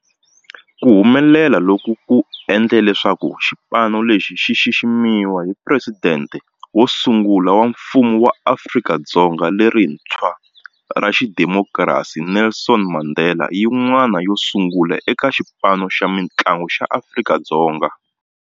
Ku humelela loku ku endle leswaku xipano lexi xi xiximiwa hi Presidente wo sungula wa Mfumo wa Afrika-Dzonga lerintshwa ra xidemokirasi, Nelson Mandela, yin'wana yo sungula eka xipano xa mitlangu xa Afrika-Dzonga.